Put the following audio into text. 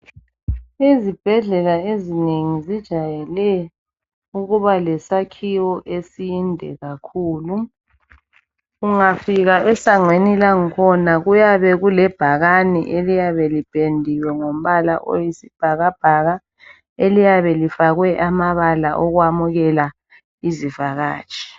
Izibhedlela ezinengi zijayele ukuba lesakhiwo esinde kakhulu. Ungafika esangweni lakhona kuyabe kulebhakane eliyabe lipendiwe ngombala oyisibhakabhaka, eliyabe lifakwe amabala okwamukela izivakatshi.